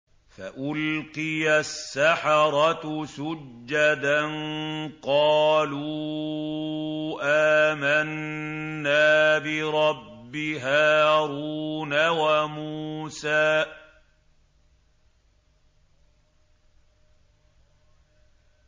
فَأُلْقِيَ السَّحَرَةُ سُجَّدًا قَالُوا آمَنَّا بِرَبِّ هَارُونَ وَمُوسَىٰ